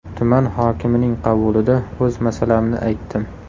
Tuman hokimining qabulida o‘z masalamni aytdim.